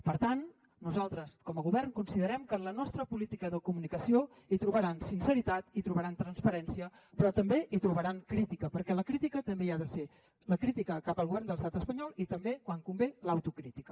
per tant nosaltres com a govern considerem que en la nostra política de comunicació hi trobaran sinceritat hi trobaran transparència però també hi trobaran crítica perquè la crítica també hi ha de ser la crítica cap al govern de l’estat espanyol i també quan convé l’autocrítica